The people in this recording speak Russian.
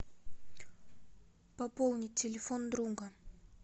пополнить телефон друга